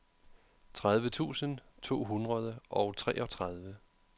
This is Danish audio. tredive tusind to hundrede og treogtredive